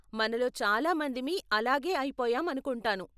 మనలో చాలా మందిమి అలాగే అయిపోయాం అనుకుంటాను.